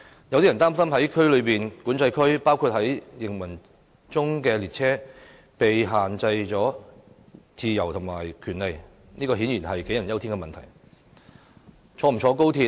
有人擔心在內地口岸區，包括在行駛中的列車內，港人的自由和權利受到限制，這顯然是杞人憂天。